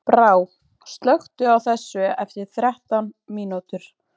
Brá, slökktu á þessu eftir þrettán mínútur.